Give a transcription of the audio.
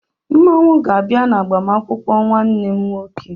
Mmanwụ ga-abịa n'agbamakwụkwọ nwanne m nwoke.